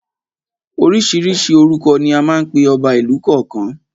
Oríṣiríṣi orúkọ ni à ń pe ọba ìlú kọ̀ọ̀kan.